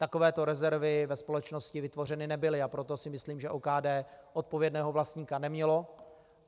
Takovéto rezervy ve společnosti vytvořeny nebyly, a proto si myslím, že OKD odpovědného vlastníka nemělo.